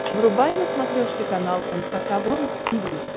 врубай на смотрешке канал эн эйч кей волд ти ви